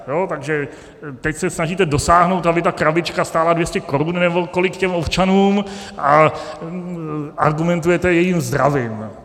Takže teď se snažíte dosáhnout, aby ta krabička stála 200 korun nebo kolik těm občanům, a argumentujete jejich zdravím.